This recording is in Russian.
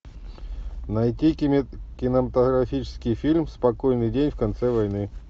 найти кинематографический фильм спокойный день в конце войны